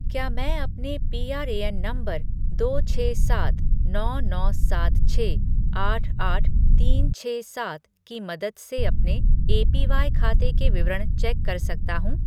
क्या मैं अपने पीआरएएन नंबर दो छः सात नौ नौ सात छः आठ आठ तीन छः सात की मदद से अपने एपीवाई खाते के विवरण चेक कर सकता हूँ?